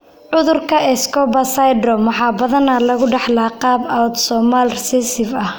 Cudurka 'Escobar syndrome' waxaa badanaa lagu dhaxlaa qaab autosomal recessive ah.